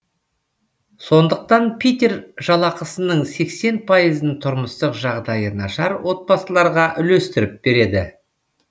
сондықтан питер жалақысының сексен пайызын тұрмыстық жағдайы нашар отбасыларға үлестіріп береді